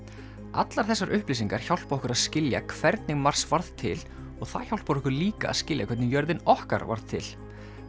allar þessar upplýsingar hjálpa okkur að skilja hvernig Mars varð til og það hjálpar okkur líka að skilja hvernig jörðin okkar varð til